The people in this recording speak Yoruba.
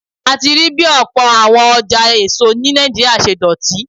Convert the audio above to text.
A ti rí bí ọ̀pọ̀ àwọn ọjà èso ní Nàìjíríà ṣe dọ̀tí.